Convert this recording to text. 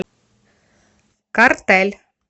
картель